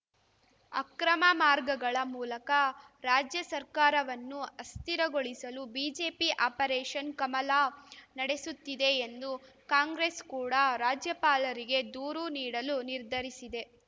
ಅಕ್ರಮ ಮಾರ್ಗಗಳ ಮೂಲಕ ರಾಜ್ಯ ಸರ್ಕಾರವನ್ನು ಅಸ್ಥಿರಗೊಳಿಸಲು ಬಿಜೆಪಿ ಆಪರೇಷನ್‌ ಕಮಲ ನಡೆಸುತ್ತಿದೆ ಎಂದು ಕಾಂಗ್ರೆಸ್‌ ಕೂಡ ರಾಜ್ಯಪಾಲರಿಗೆ ದೂರು ನೀಡಲು ನಿರ್ಧರಿಸಿದೆ